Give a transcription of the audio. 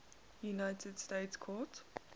united states court